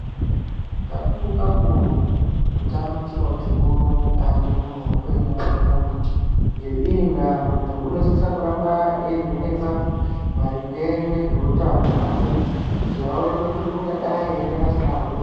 Kakuru kakuru utano chiro chikuru mukati mwe upenyu hwe muntu ngeiyi ndaa muntu unosisa kuramba eyi vhenekwa maringe ngezve utano hwake kuti awonekwe kuti ungadai ere asina hosha.